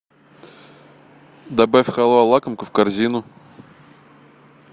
добавь халва лакомка в корзину